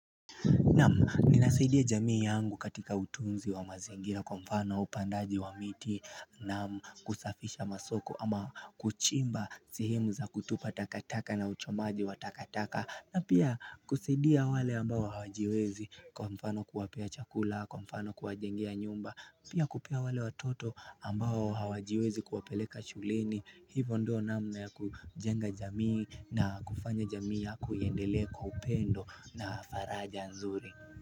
Naam, ninasidia jamii yangu katika utunzi wa mazingira kwa mfano upandaji wa miti na kusafisha masoko ama kuchimba sehemu za kutupa takataka na uchomaji wa takataka na pia kusaidia wale ambao hawajiwezi kwa mfano kuwapea chakula, kwa mfano kuwajengia nyumba Pia kupea wale watoto ambao hawajiwezi kuwapeleka shuleni Hivo ndio namna ya kujenga jamii na kufanya jamii yako iendelee kwa upendo na faraja nzuri.